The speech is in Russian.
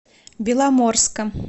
беломорска